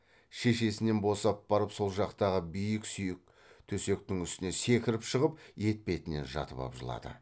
шешесінен босап барып сол жақтағы биік сүйек төсектің үстіне секіріп шығып етпетінен жатып ап жылады